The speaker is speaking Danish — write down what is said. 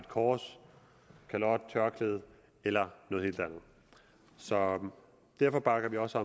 kors kalot tørklæde eller noget helt andet så derfor bakker vi også